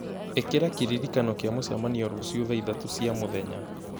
ĩkĩra kĩririkano kĩa mũcemanio rũciũ thaa ithatũ cia mũthenya